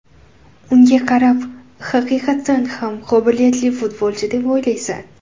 Unga qarab, haqiqatdan ham qobiliyatli futbolchi deb o‘ylaysan.